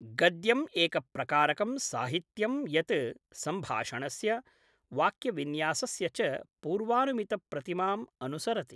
गद्यम् एकप्रकारकं साहित्यं यत् संभाषणस्य, वाक्यविन्यासस्य च पूर्वानुमितप्रतिमाम् अनुसरति ।